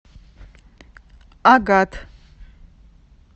агат